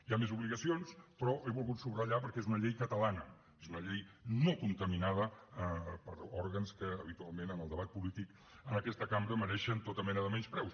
hi ha més obligacions però les he volgut subratllar perquè és una llei catalana és una llei no contaminada per òrgans que habitualment en el debat polític en aquesta cambra mereixen tota mena de menyspreus